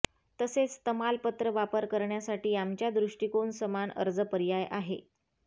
तसेच तमालपत्र वापर करण्यासाठी आमच्या दृष्टिकोन समान अर्ज पर्याय आहे